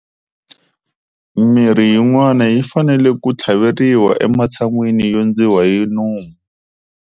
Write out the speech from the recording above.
Mirhi yin'wana yi fanele ku tlhaveriwa ematshan'wini yo ndziwa hi nomu.